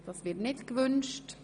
– Es wird nicht gewünscht.